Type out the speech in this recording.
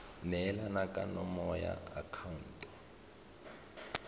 neelana ka nomoro ya akhaonto